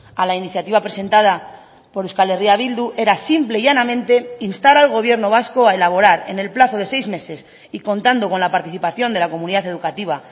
a la iniciativa presentada por euskal herria bildu era simple y llanamente instar al gobierno vasco a elaborar en el plazo de seis meses y contando con la participación de la comunidad educativa